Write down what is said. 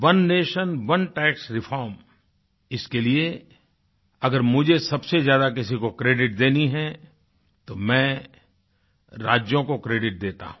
ओने nation one tax रिफॉर्मइसके लिए अगर मुझे सबसे ज्यादा किसी को क्रेडिट देनी है तो मैं राज्यों को क्रेडिट देता हूँ